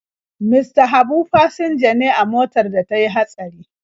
Mista Habu fasinja ne a motar da ta yi hatsari.